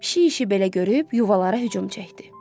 Pişik işi belə görüb yuvalara hücum çəkdi.